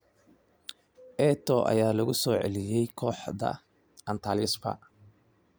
Eto'o ayaa lagu soo celiyay kooxda Antalyaspor